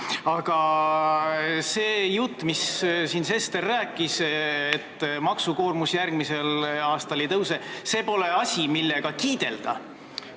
Aga see jutt, mis Sester rääkis, et maksukoormus järgmisel aastal ei kasva – see pole asi, millega kiidelda.